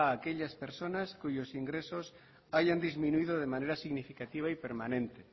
a aquellas personas cuyos ingresos hayan disminuido de manera significativa y permanente